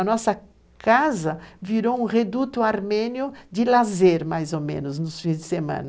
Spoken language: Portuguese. A nossa casa virou um reduto armênio de lazer, mais ou menos, nos fins de semana.